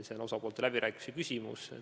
See on osapoolte läbirääkimiste küsimus.